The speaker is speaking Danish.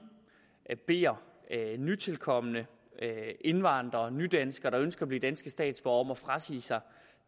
beder nytilkomne indvandrere og nydanskere der ønsker at blive danske statsborgere om at frasige sig